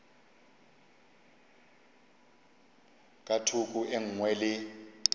ka thoko e nngwe le